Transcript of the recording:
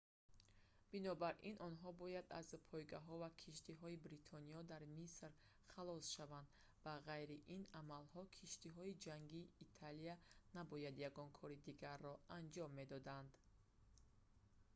бинобар ин онҳо бояд аз пойгоҳҳо ва киштиҳои бритониё дар миср халос шаванд ба ғайри ин амалҳо киштиҳои ҷангии италия набояд ягон кори дигарро анҷом медоданд